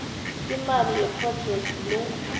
imali yephrojekhthi le